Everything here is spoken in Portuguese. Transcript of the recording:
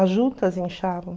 As juntas inchavam.